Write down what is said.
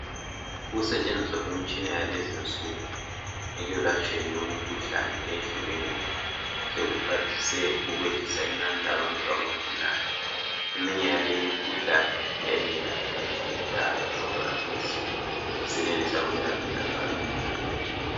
Ukusetshenziswa kwemitshina yakulezinsuku ekwelatshweni kwemikhuhlane eyehlukeneyo. Sekuphathise ukwehlisa inani labantu abagulayo. Eminye yaleyi imikhuhlane yayingelapheki kudala kodwa khathesi sisenelisa ukwelapheka kalula.